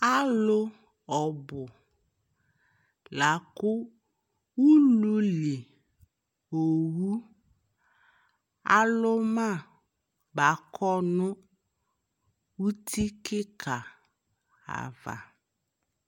Alʋ ɔbʋ la kʋ ululi owu alʋ ma bakɔ nʋ uti kika ava